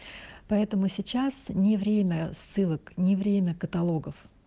поэтому сейчас не время ссылок не время каталогов